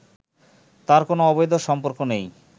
তার কোনো অবৈধ সম্পর্ক নেই